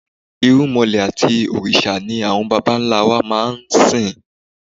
Irúmọlẹ̀ àti òrìṣà ni àwọn bàbá ńlá wa máa ń sìn.